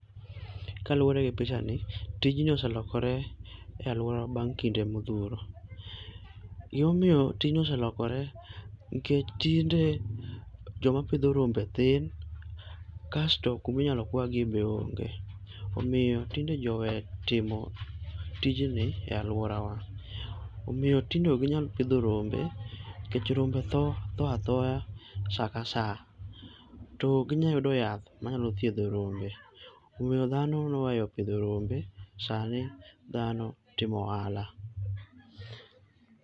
Kaluwore gi picha ni, tijni oselokore e alwora bang' kinde modhuro. Gimomiyo tijni oselokore nikech tinde joma pidho rombe thin, kasto kuminyalo kwagi be onge. Omiyo tinde ji owe timo tijni e alworawa. Omiyo tinde ok ginyal pidho rombe, nikech rombe tho, tho athoya sa ka sa. To okginyayudo yath manya thiedho rombe, omiyo dhano noweyo pidho rombe, sani dhano timo ohala.